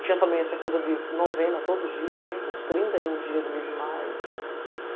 Tinha também essa coisa de novena todo dia, os trinta e um dias do mês de maio.